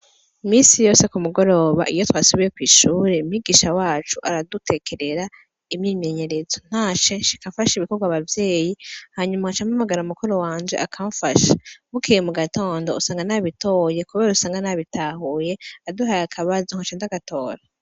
Iminsi yose ku mugoroba iyo twasubiye kw'ishure, umwigisha wacu aradutekerera imyimenyerezo, ntashe nshika mfasha ibikorwa abavyeyi hanyuma nkaca mpamagara mukuru wanje akamfasha, bukeye mu gatondo usanga nabitoye kubera usanga nabitahuye, aduhaye akabazo nkaca ndagatora.